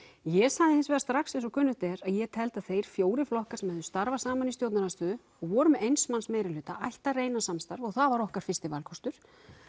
ég sagði hins vegar strax eins og kunnugt er að ég teldi að þeir fjórir flokkar sem hefðu starfað saman í stjórnarandstöðu og voru með eins manns meirihluta ættu að reyna samstarf og það var okkar fyrsti valkostur